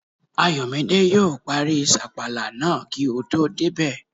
Ayọ̀mídé yóò parí sàpàlà náà kí o tó débẹ̀